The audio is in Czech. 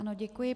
Ano, děkuji.